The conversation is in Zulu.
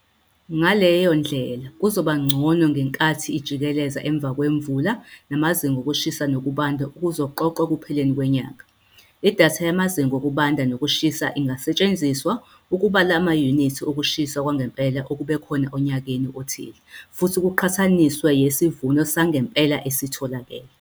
Ngaleyo ndlela kuzoba ngcono ngenkathi ijikeleza emva kwemvula namazinga okushisa nokubanda okuzoqoqwa ekupheleni kwenyanga. Idatha yamazinga okubanda nokushisa ingasetshenziswa ukubala amayunithi okushisa kwangempela okube khona onyakeni othile futhi kuqhathaniswe yesivuno sangempela esitholakele.